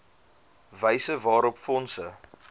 wyse waarop fondse